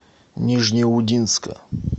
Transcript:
нижнеудинска